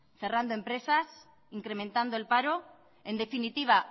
cerrando empresas incrementando el paro en definitiva